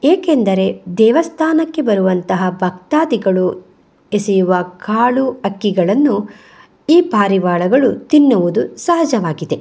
ಏಕೆಂದರೆ ದೇವಸ್ಥಾನಕ್ಕೆ ಬರುವಂತಹ ಭಕ್ತಾದಿಗಳು ಎಸೆಯುವ ಕಾಳು ಅಕ್ಕಿಗಳನ್ನು ಈ ಪಾರಿವಾಳಗಳು ತಿನ್ನುವುದು ಸಹಜವಾಗಿದೆ ಪಾರಿವಾಳಗಳು.